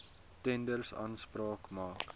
tenders aanspraak maak